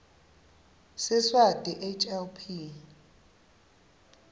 siswati hl p